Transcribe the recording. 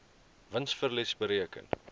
wins verlies bereken